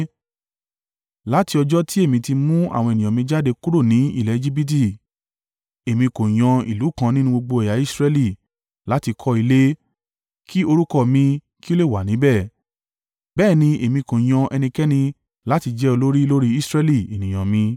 ‘Láti ọjọ́ tí èmi ti mú àwọn ènìyàn mi jáde kúrò ní ilẹ̀ Ejibiti, èmi kò yan ìlú kan nínú gbogbo ẹ̀yà Israẹli, láti kọ́ ilé, kí orúkọ mi kí ó lè wà níbẹ̀, bẹ́ẹ̀ ni èmi kò yan ẹnikẹ́ni láti jẹ́ olórí lórí Israẹli ènìyàn mi.